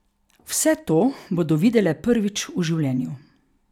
Vse to bodo videle prvič v življenju.